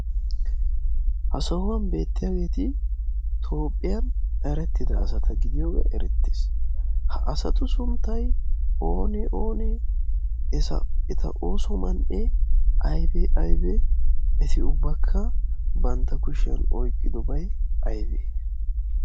ha sahuwan beettiyaageeti toopphiyan erettida asata gidiyoogee erettees. ha asatu sunttai one oonee? eta ooso man7e aibe aibee? eti ubbakka bantta kushiyan oiqqidobai aibee?